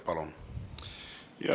Palun!